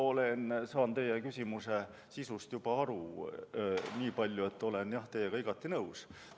Mina saan teie küsimuse sisust aru nii palju, et olen teiega igati nõus.